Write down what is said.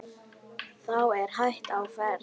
Þá er hætta á ferð.